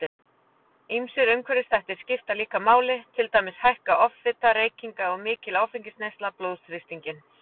Ýmsir umhverfisþættir skipta líka máli, til dæmis hækka offita, reykingar og mikil áfengisneysla blóðþrýstinginn.